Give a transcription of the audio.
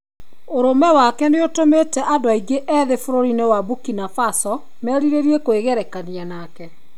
Ũrũme wake nĩ ũtũmĩte andũ aingĩ ethĩ bũrũri-inĩ wa Burkina Faso merirĩrie kwĩgerekania nake.